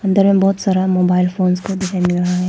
अंदर में बहुत सारा मोबाइल फोन्स को दिखाई दे रहा है।